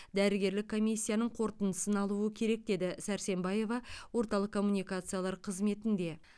дәрігерлік комиссияның қорытындысын алуы керек деді сәрсенбаева орталық коммуникациялар қызметінде